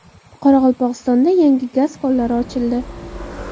Qoraqalpog‘istonda yangi gaz konlari ochildi.